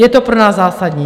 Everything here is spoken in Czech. Je to pro nás zásadní.